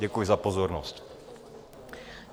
Děkuji za pozornost.